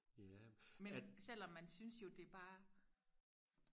men selvom man synes jo det er bare